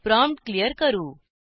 prompt clear करू